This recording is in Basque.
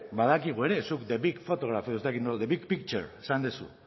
badakigu ere zuk the big photograph edo ez dakit nola the big picture esan duzu